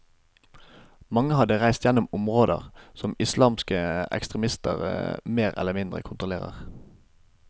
Mange hadde reist gjennom områder som islamske ekstremister mer eller mindre kontroller.